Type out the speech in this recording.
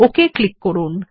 okay click করুন